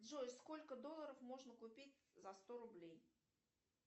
джой сколько долларов можно купить за сто рублей